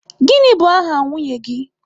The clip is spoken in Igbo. Gịnị bụ aha nwunye gị?